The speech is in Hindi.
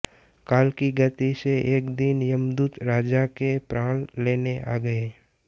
काल की गति से एक दिन यमदूत राजा के प्राण लेने आ गये